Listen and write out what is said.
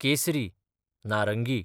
केसरी, नारंगी